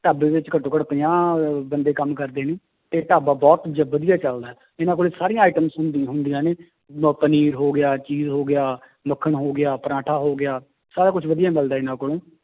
ਢਾਬੇ ਵਿੱਚ ਘੱਟੋ ਘੱਟ ਪੰਜਾਹ ਬੰਦੇ ਕੰਮ ਕਰਦੇ ਨੇ, ਤੇ ਢਾਬਾ ਬਹੁਤ ਜੀ ਵਧੀਆ ਚੱਲਦਾ ਹੈ ਇਹਨਾਂ ਕੋਲੇ ਸਾਰੀਆਂ items ਹੁੰਦੀ ਹੁੰਦੀਆਂ ਨੇ ਆਹ ਪਨੀਰ ਹੋ ਗਿਆ ਹੋ ਗਿਆ ਮੱਖਣ ਹੋ ਗਿਆ ਪਰਾਠਾ ਹੋ ਗਿਆ, ਸਾਰਾ ਕੁਛ ਵਧੀਆ ਮਿਲਦਾ ਹੈ ਇਹਨਾਂ ਕੋਲੋਂ।